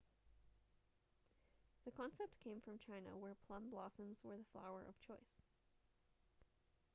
the concept came from china where plum blossoms were the flower of choice